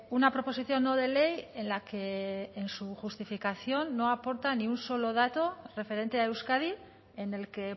una proposición no de ley en la que en su justificación no aporta ni un solo dato referente a euskadi en el que